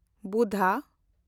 Buddha